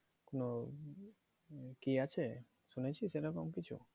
কোনো কি আছে শুনেছিস এরকম কিছু?